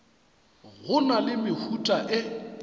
go na le mehuta e